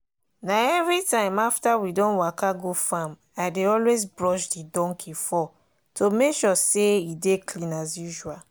na everytime after we don waka go farmi dey always brush the donkey fur to make sure say e dey clean as usual.